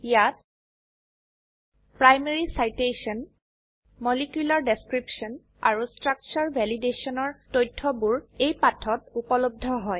ইয়াত primary citation molecular description আৰু ষ্ট্ৰাকচাৰে ভেলিডেশ্যন ৰতথয়বোৰ এই পাঠত উপলব্ধ হয়